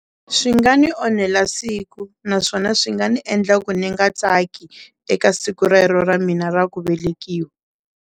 Swi nga ni onhela siku naswona swi nga ni endla ku ni nga tsaki eka siku rero ra mina ra ku velekiwa.